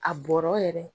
A bɔra yɛrɛ